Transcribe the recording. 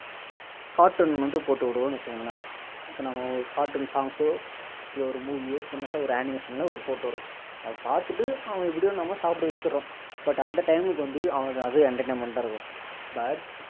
cartoon வந்து போட்டு விடுவோணு வச்சிகோங்களேன் இப்போ நம்ம cartoon songs சோ இல்ல ஒரு movie யோ சின்னதா ஒரு animation ல ஒரு போட்டு விடுறோம் அதை பார்த்துட்டு அவன்ன எப்படியோ நம்ம சாப்பிட வச்சிடுறோம் but அந்த time க்கு வந்து அவனுக்கு அது entertainment டா இருக்கும்